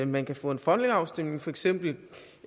man kan få en folkeafstemning for eksempel